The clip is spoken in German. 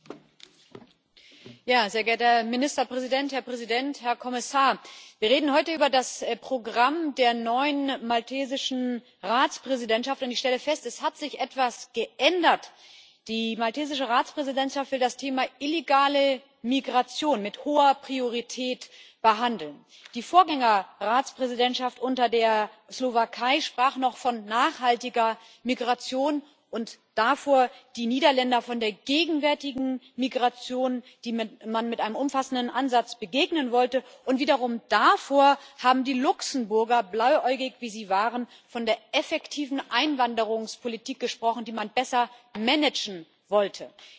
Herr Präsident, Herr Kommissar, sehr geehrter Herr Ministerpräsident! Wir reden heute über das Programm der neuen maltesischen Ratspräsidentschaft. Ich stelle fest Es hat sich etwas geändert. Die maltesische Ratspräsidentschaft will das Thema illegale Migration mit hoher Priorität behandeln. Die Vorgänger Ratspräsidentschaft unter der Slowakei sprach noch von nachhaltiger Migration und davor die Niederländer von der gegenwärtigen Migration, der man mit einem umfassenden Ansatz begegnen wollte. Und wiederum davor haben die Luxemburger blauäugig, wie sie waren von der effektiven Einwanderungspolitik gesprochen, die man besser managen wollte.